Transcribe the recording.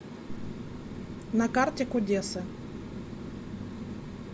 на карте кудесы